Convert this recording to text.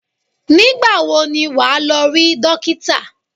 Nígbà wo ni wà á lọ rí dókítà?